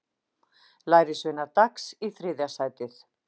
Lærisveinar Dags í þriðja sætið